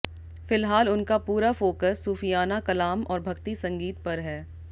फिलहाल उनका पूरा फोकस सूफियाना कलाम और भक्ति संगीत पर है